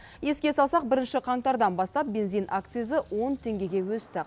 еске салсақ бірінші қаңтардан бастап бензин акцизі он теңгеге өсті